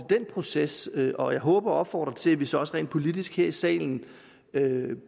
den proces og jeg håber og opfordrer til at vi så også rent politisk her i salen